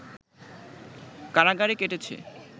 কারাগারে কেটেছে